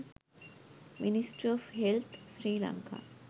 ministry of health sri lanka